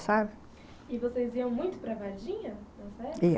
E vocês iam muito para Varginha? Ia.